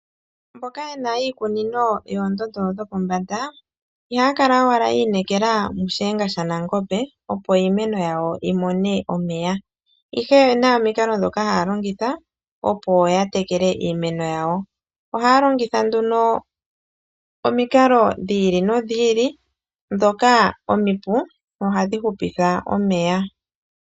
Mboka yena iikunino yoondondo dho pombanda ihaya kala owala ya inekela mu shiyenga sha nangombe opo iimeno yawo yi mone omeya, ihe oyena omikalo dhoka haya longitha opo ya tekele iimeno yawo. Ohaya longitha nduno omikalo dhi ili nodhi ili dhoka omipu no hadhi hupitha omeya.